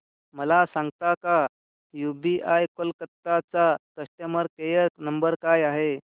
मला सांगता का यूबीआय कोलकता चा कस्टमर केयर नंबर काय आहे